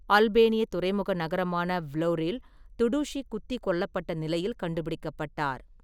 அல்பேனிய துறைமுக நகரமான வ்லோரில் துடுஷி குத்திக் கொல்லப்பட்ட நிலையில் கண்டுபிடிக்கப்பட்டார்.